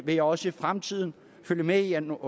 vil jeg også i fremtiden følge med i om